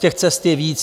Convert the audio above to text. Těch cest je víc.